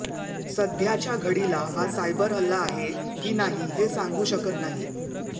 सध्याच्या घडीला हा सायबर हल्ला आहे की नाही हे सांगू शकत नाही